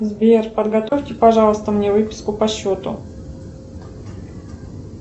сбер подготовьте пожалуйста мне выписку по счету